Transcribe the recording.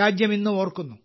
രാജ്യം ഇന്നും ഓർക്കുന്നു